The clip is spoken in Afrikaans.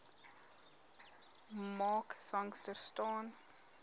mark sangster staan